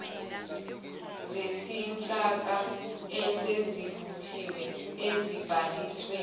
zezinhlaka esezivuthiwe ezibhalisiwe